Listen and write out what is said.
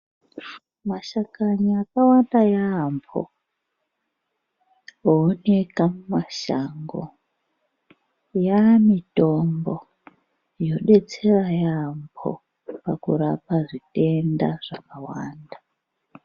Mashakani akawanda yaamho ooneka mumashango yaamitombo yodetsera yaamho pakurapa zvitenda zvakawanda.